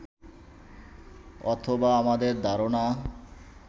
অথবা আমাদের ধারণা